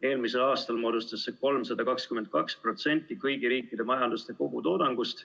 Eelmisel aastal moodustas see 322% kõigi riikide sisemajanduse kogutoodangust.